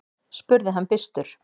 spurði hann byrstur.